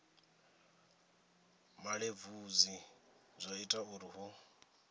malelebvudzi zwa ita uri hu